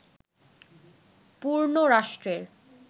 পূর্ণ রাষ্ট্রের